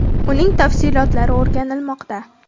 Uning tafsilotlari o‘rganilmoqda.